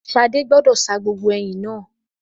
Ṣadé gbọ́dọ̀ sa gbogbo ẹyìn yẹn.